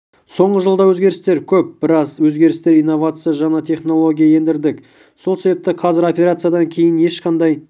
соңғы жылда өзгерістер көп біраз өзгерістер инновация жаңа технология ендірдік сол себепті қазір операциядан кейін ешқандай